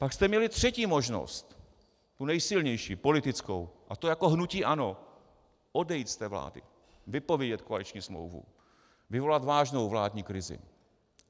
Pak jste měli třetí možnost, tu nejsilnější, politickou, a to jako hnutí ANO - odejít z té vlády, vypovědět koaliční smlouvu, vyvolat vážnou vládní krizi.